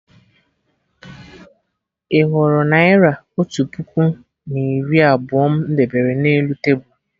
Ị hụrụ Naira otu puku narị na iri abụọ m debere na elu tebul?